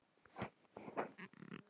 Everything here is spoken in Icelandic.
Þú gerðir vel!